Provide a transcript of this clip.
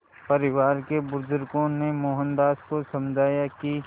परिवार के बुज़ुर्गों ने मोहनदास को समझाया कि